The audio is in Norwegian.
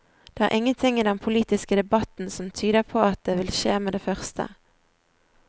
Det er ingenting i den politiske debatten som tyder på at det vil skje med det første.